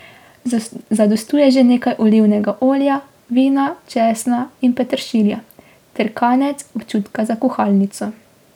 Zadostuje že nekaj olivnega olja, vina, česna in peteršilja ter kanec občutka za kuhalnico.